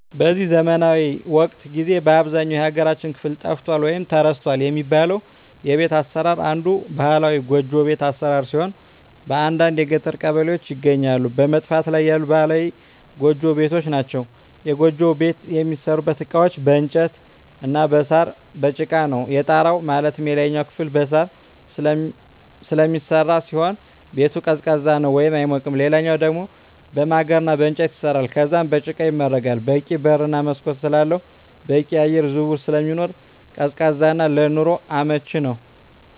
በዚህ ዘመናዊ ወቅት ጊዜ በአብዛኛው የሀገራችን ክፍል ጠፍቷል ወይም ተረስቷል የሚባለው የቤት አሰራር አንዱ ባህላዊ ጎጆ ቤት አሰራር ሲሆን በአንዳንድ የገጠር ቀበሌዎች ይገኛሉ በመጥፋት ላይ ያሉ ባህላዊ ጎጆ ቤቶች ናቸዉ። የጎጆ ቤት የሚሠሩበት እቃዎች በእንጨት እና በሳር፣ በጭቃ ነው። የጣራው ማለትም የላይኛው ክፍል በሳር ስለሚሰራ ሲሆን ቤቱ ቀዝቃዛ ነው አይሞቅም ሌላኛው ደሞ በማገር እና በእንጨት ይሰራል ከዛም በጭቃ ይመረጋል በቂ በር እና መስኮት ስላለው በቂ የአየር ዝውውር ስለሚኖር ቀዝቃዛ እና ለኑሮ አመቺ ነው።